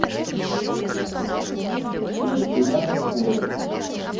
между нами горы